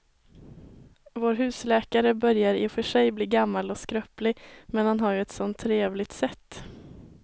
Vår husläkare börjar i och för sig bli gammal och skröplig, men han har ju ett sådant trevligt sätt!